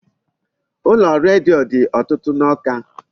Ụlọ redio dị ọtụtụ n'Awka.